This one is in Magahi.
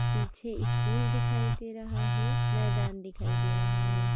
पीछे स्कूल दिखाई दे रहा है मैदान दिखाई दे रहा है।